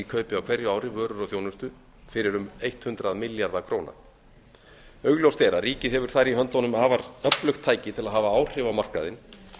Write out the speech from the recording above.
kaupi á hverju ári vörur og þjónustu fyrir um hundrað milljarða króna augljóst er að ríkið hefur þar í höndunum afar öflugt tæki til að hafa áhrif á markaðinn